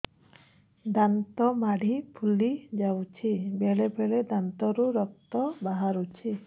ଦାନ୍ତ ମାଢ଼ି ଫୁଲି ଯାଉଛି ବେଳେବେଳେ ଦାନ୍ତରୁ ରକ୍ତ ବାହାରୁଛି